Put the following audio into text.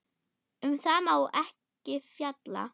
Um það má ekki fjalla.